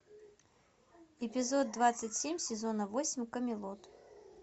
эпизод двадцать семь сезона восемь камелот